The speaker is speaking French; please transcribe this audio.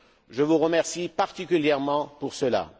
Je vous remercie particulièrement pour cela.